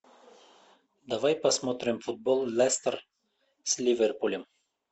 давай посмотрим футбол лестер с ливерпулем